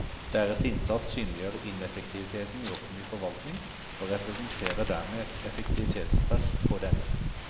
Deres innsats synliggjør ineffektiviteten i offentlig forvaltning og representerer dermed et effektivitetspress på denne.